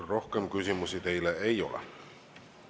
Rohkem küsimusi teile ei ole.